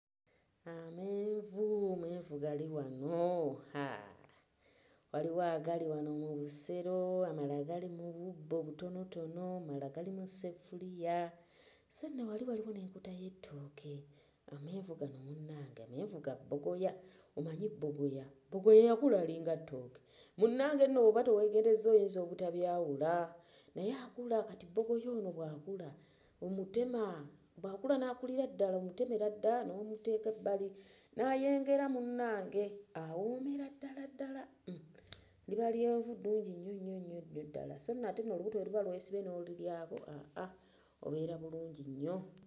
Amenvu, amenvu gali wano haa, waliwo agali wano mu lusero amalala gali mu bubbo obutonotono amalala gali mu ssefuliya, sso nno wali waliwo n'enkota y'ettooke. Amenvu gano munnange, amenvu ga bbogoya, omanyi bbogoya, bbogoya yakula alinga ttooke, munnange nno w'oba towegenderezza oyinza obutabyawula naye akula, kati bbogoya ono bw'akula omutema, bw'akula n'akulira ddala omutemera ddala n'omuteeka ebbali n'ayengera munnange, awoomera ddala ddala hmm liba lyenvu ddungi nnyo nnyo ddala, sso nno ate mu lubuto bwe luba lwesibye nolilyako aah obeera bulungi nnyo.